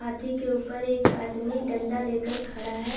हाथी के ऊपर एक आदमी डंडा लेकर खड़ा हैं ।